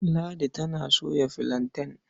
Ladi tana soya filanten.